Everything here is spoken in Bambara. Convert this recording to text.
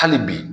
Hali bi